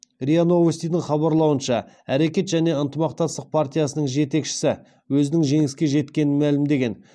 риа новостидің хабарлауынша әрекет және ынтымақтастық партиясының жетекшісі өзінің жеңіске жеткенін мәлімдеген